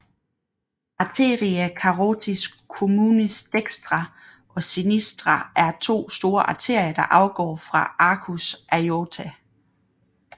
Arteria carotis communis dextra og sinistra er to store arterier der afgår fra arcus aortae